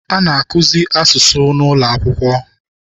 A na-akụzi asụsụ n'ụlọ akwụkwọ.